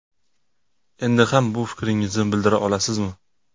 Endi ham bu fikringizni bildira olasizmi?